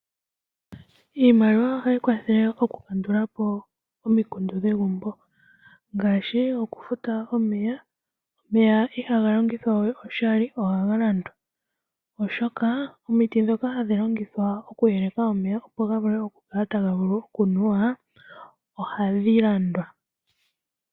Iimaliwa ohayi kwathele oku kandulapo omikundu dhegumbo ngaashi oku futa omeya. Omeya ihaga longithwa we oshali ohaga landwa oshoka omiti ndhoka hadhi longithwa oku yeleka omeya ohadhi landwa.